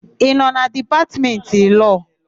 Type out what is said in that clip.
Ị nọ na Dipatmentị Lọọ?